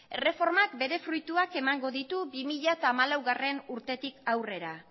erreformak bere fruituak emango ditu bi mila hamalaugarrena urtetik aurrera